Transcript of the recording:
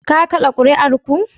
Ka kada kuri'ar ku?